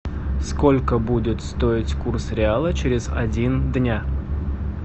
сколько будет стоить курс реала через один дня